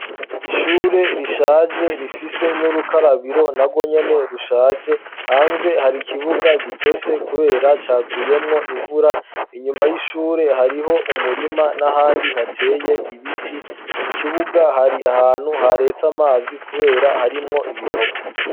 Ishure rishaje rifise n'urukarabiro na gwo nyene rushaje hanze hari ikibuga gitose, kubera caguyemwo imvura inyuma y'ishure hariho umurima n'ahandi hateye ibiti mu kibuga hari ahantu ha retsa amazi, kubera harimwo ibinogo.